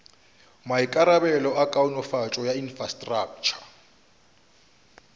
maikarabelo a kaonafatšo ya infrastraktšha